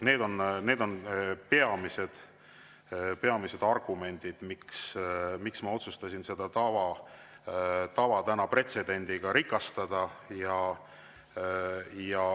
Need on peamised argumendid, miks ma otsustasin seda tava täna pretsedendiga rikastada.